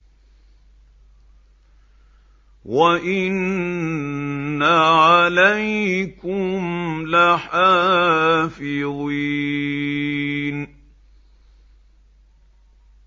وَإِنَّ عَلَيْكُمْ لَحَافِظِينَ